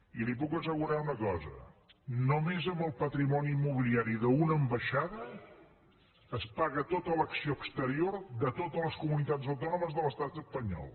i li puc assegurar una cosa només amb el patrimoni immobiliari d’una ambaixada es paga tota l’acció exterior de totes les comunitats autònomes de l’estat espanyol